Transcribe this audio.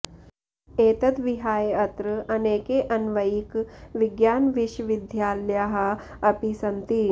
एतद् विहाय अत्र अनेके अन्वयिक विज्ञानविशविद्यालयाः अपि सन्ति